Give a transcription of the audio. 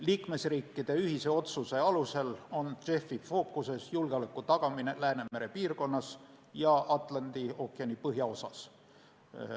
Liikmesriikide ühise otsuse alusel on JEF-i fookuses julgeoleku tagamine Läänemere piirkonnas ja Atlandi ookeani põhjaosas.